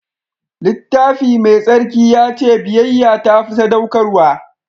Littafi Mai Tsarki ya ce biyayya ta fi sadaukarwa.